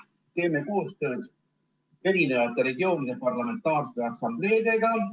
Teeme koostööd eri regioonide parlamentaarsete assambleedega.